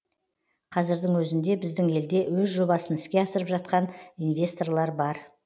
қазірдің өзінде біздің елде өз жобасын іске асырып жатқан инвесторлар бар